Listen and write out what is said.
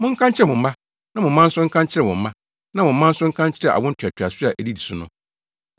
Monka nkyerɛ mo mma, na mo mma nso nka nkyerɛ wɔn mma na wɔn mma nso nka nkyerɛ awo ntoatoaso a edi so no.